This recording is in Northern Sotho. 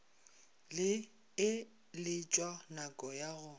e letšwa naka ya go